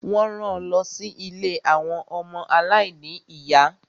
Wọ́n ran lọ sí ilé àwọn ọmọ aláìní ìyá.